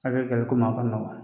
A bɛ gɛlɛ koma